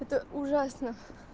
это ужасно